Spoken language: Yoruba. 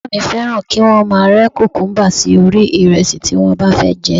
Bàbá mi fẹ́ràn kí wọ́n máa rẹ́ kùkúmúbá sí orí ìrẹsì tí wọ́n bá fẹ́ jẹ